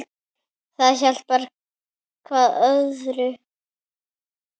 Það hjálpar hvað öðru.